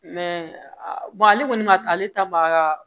ale kɔni ma taa ale ta ma ka